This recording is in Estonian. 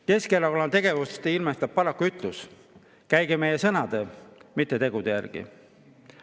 Keskerakonna tegevust ilmestab paraku ütlus "Käige meie sõnade, mitte tegude järgi".